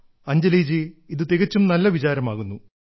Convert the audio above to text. അഞ്ജലി ജി ഇത് തികച്ചും നല്ല വിചാരമാകുന്നു